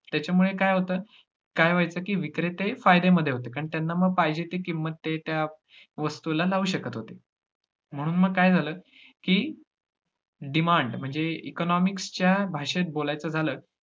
त्याच्यामुळे काय होतं काय व्हाययचं की विक्रेते फायदेमध्ये होते कारण त्यांना मग पाहिजे ती किंमत ते त्या त्यावस्तूला लावू शकत होते म्हणून मग काय झालं की demand म्हणजे economics च्या भाषेत बोलायचं झालं,